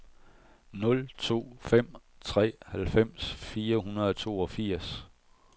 nul to fem tre halvfems fire hundrede og toogfirs